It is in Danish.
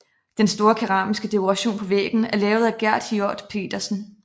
Den store keramiske dekoration på væggen er lavet af Gerd Hiorth Petersen